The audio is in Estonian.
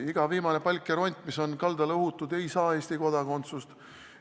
Iga viimane kui palk ja ront, mis on kaldale uhutud, ei saa Eesti kodakondsust.